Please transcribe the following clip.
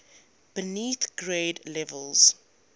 beneath grade levels